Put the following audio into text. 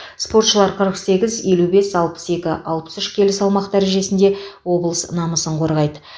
спортшылар қырық сегіз елу бес алпыс екі алпыс үш келі салмақ дәрежесінде облыс намысын қорғайды